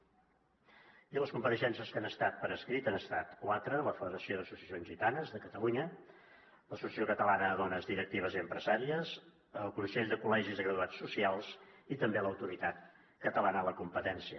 i les compareixences que han estat per escrit han estat quatre la federació d’associacions gitanes de catalunya l’associació catalana de dones directives i empresàries el consell de col·legis de graduats socials i també l’autoritat catalana de la competència